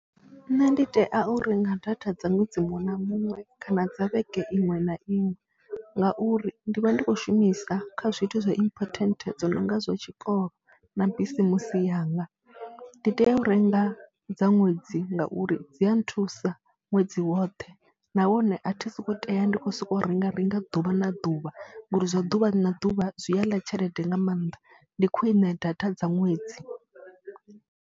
Nṋe ndi tea u renga data dza ṅwedzi muṅwe na muṅwe kana dza vhege iṅwe na iṅwe ngauri ndi vha ndi khou shumisa kha zwithu zwa important dzo no nga zwa tshikolo na bisimusi yanga. Ndi tea u renga dza ṅwedzi ngauri dzi a nthusa ṅwedzi woṱhe nahone a thi sokou tea ndi khou sokou renga renga ḓuvha na ḓuvha ngori zwa ḓuvha na ḓuvha zwi a ḽa tshelede nga maanḓa, ndi khwine data dza ṅwedzi.